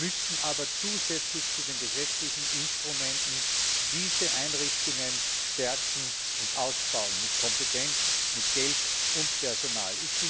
Wir müssen aber zusätzlich zu den gesetzlichen Instrumenten diese Einrichtungen stärken und ausbauen, mit Kompetenzen, mit Geld und Personal.